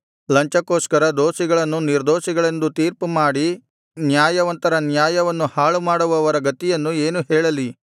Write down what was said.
ಲಂಚಕ್ಕೋಸ್ಕರ ದೋಷಿಗಳನ್ನು ನಿರ್ದೋಷಿಗಳೆಂದು ತೀರ್ಪುಮಾಡಿ ನ್ಯಾಯವಂತರ ನ್ಯಾಯವನ್ನು ಹಾಳುಮಾಡುವವರ ಗತಿಯನ್ನು ಏನು ಹೇಳಲಿ